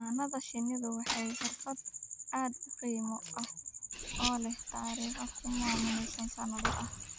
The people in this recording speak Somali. Xannaanada shinnidu waa xirfad aad u qadiimi ah oo leh taariikh kumanaan sano ah.